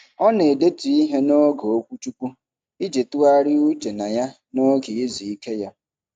Ọ na-edetu ihe n'oge okwuchukwu iji tụgharị uche na ya n'oge izu ike ya.